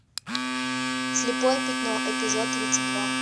слепое пятно эпизод тридцать два